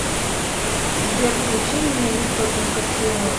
сбер включи неллифорникатион